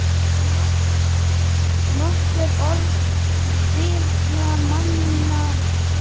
Getur nokkur orðið hrifinn af manni eins og mér?